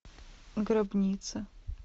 гробница